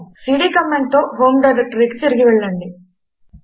CD command తో home డైరెక్టరీకి తిరిగి వెళ్ళండి